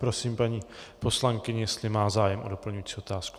Prosím paní poslankyni, jestli má zájem o doplňující otázku.